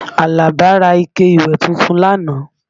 Àlàbá ra ike ìwẹ̀ tuntun lánàá